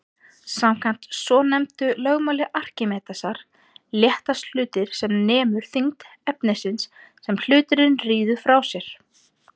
Samkvæmt svonefndu lögmáli Arkímedesar léttast hlutir sem nemur þyngd efnisins sem hluturinn ryður frá sér.